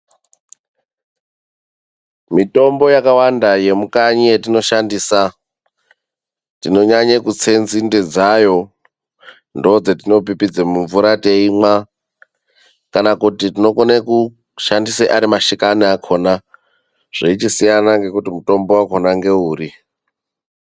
Mitombo yakawanda yemukanyi yetinoshandisa tinonyanye kutse nzinde dzayo. Ndoodzetinopipidze mumvura teimwa, kana kuti tinokone kushandisa ari mashakani akhona. Zveichisiyana ngekuti mutombo wakhona ngeuri.